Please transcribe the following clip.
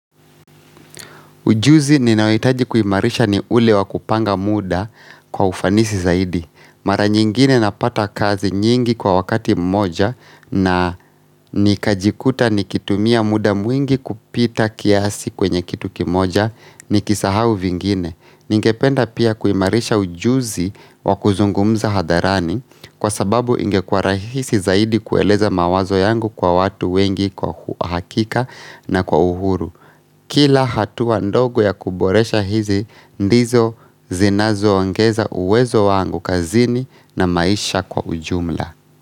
Ujuzi ninayohitaji kuimarisha ni ule wa kupanga muda kwa ufanisi zaidi. Mara nyingine napata kazi nyingi kwa wakati mmoja na nikajikuta nikitumia muda mwingi kupita kiasi kwenye kitu kimoja ni kisahau vingine. Ningependa pia kuimarisha ujuzi wa kuzungumza hadharani kwa sababu ingekuwa rahisi zaidi kueleza mawazo yangu kwa watu wengi kwa uhakika na kwa uhuru. Kila hatua ndogo ya kuboresha hizi, ndizo zinazo ongeza uwezo wangu kazini na maisha kwa ujumla.